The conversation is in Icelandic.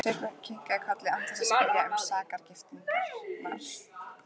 Sveinbjörn kinkaði kolli án þess að spyrja um sakargiftirnar.